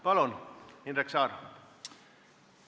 Palun, Indrek Saar!